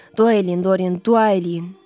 Dua eləyin, Doryan, dua eləyin.